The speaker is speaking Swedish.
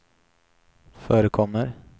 förekommer